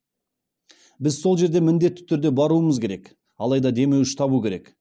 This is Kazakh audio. біз сол жерге міндетті түрде баруымыз керек алайда демеуші табу керек